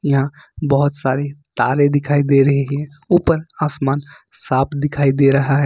यहां बहुत सारे तारे दिखाई दे रही है ऊपर आसमान साफ दिखाई दे रहा है।